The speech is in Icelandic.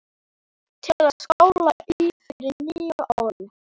Til að skála í fyrir nýju ári.